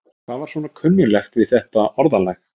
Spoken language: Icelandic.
Hvað var svona kunnuglegt við þetta orðalag?